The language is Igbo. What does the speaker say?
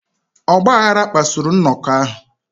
Ọgbaghara kpasuru nnọkọ ahụ.